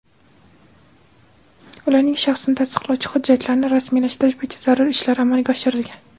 ularning shaxsini tasdiqlovchi hujjatlarni rasmiylashtirish bo‘yicha zarur ishlar amalga oshirilgan.